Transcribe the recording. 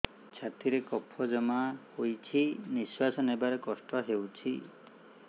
ଛାତିରେ କଫ ଜମା ହୋଇଛି ନିଶ୍ୱାସ ନେବାରେ କଷ୍ଟ ହେଉଛି